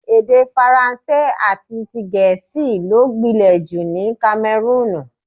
Èdè Faransé àti ti Gẹ̀ẹ́sì ló gbìnlè jù ní Kamẹrúùnù.